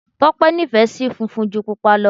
Tọ́pẹ́ nífẹ̀ẹ́ sí funfun ju Pupa lọ.